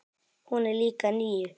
Hún er líka níu.